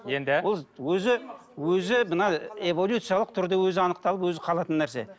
енді өзі өзі мына эволюциялық түрде өзі анықталып өзі қалатын нәрсе